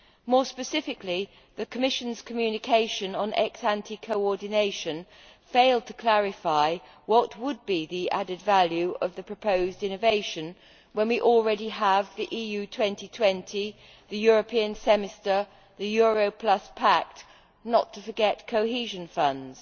More specifically, the Commission's Communication on ex ante coordination failed to clarify what would be the added value of the proposed innovation when we already have the EU 2020, the European Semester and the Euro Pact, not to forget Cohesion Funds.